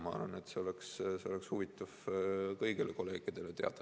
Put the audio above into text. Ma arvan, et seda oleks huvitav kõigil kolleegidel teada.